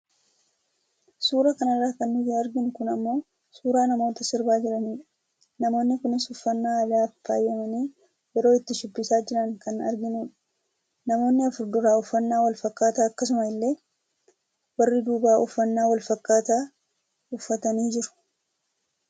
Suura kanarraa kan nuti arginu kun immoo suuraa namoota sirbaa jiraniidha. Namoonni kunis uffannaa aadaan faayamanii yeroo itti shubbisaa jiran kan arginudha. Namoonni afur duraa uffannaa wal-fakkaataa akkasuma illee warri duubaa uffannaa wal-fakkaataa uffatanii jiru.